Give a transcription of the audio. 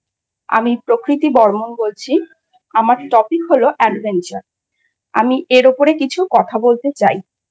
আমি প্রকৃতি বর্মন বলছি। আমার Topic হলো Adventure । আমি এর উপরে কিছু কথা বলতে চাই।